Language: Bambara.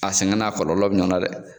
A sɛgɛn n'a kɔlɔlɔ bɛ ɲɔgɔn na dɛ.